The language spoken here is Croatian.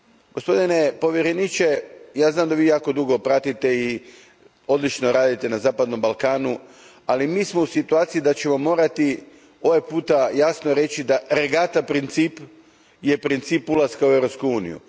Gospodine povjereniče, ja znam da vi jako dugo pratite i odlično radite na zapadnom Balkanu, ali mi smo u situaciji da ćemo morati ovoga puta jasno reći da je regata princip princip ulaska u Europsku uniju.